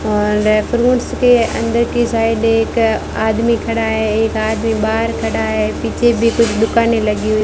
और के अंदर की साइड एक आदमी खड़ा है एक आदमी बाहर खड़ा है पीछे भी कुछ दुकानें लगी हुई --